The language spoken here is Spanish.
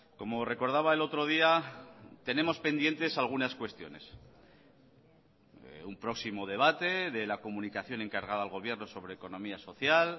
como recordaba el otro día tenemos pendientes algunas cuestiones un próximo debate de la comunicación encargada al gobierno sobre economía social